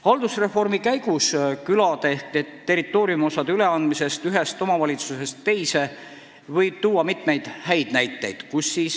Haldusreformi käigus külade ehk territooriumiosade üleandmisest ühest omavalitsusest teise võib tuua mitmeid häid näiteid.